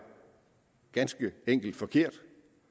ganske enkelt forkert